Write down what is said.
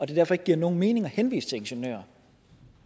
det derfor ikke giver nogen mening at henvise til ingeniører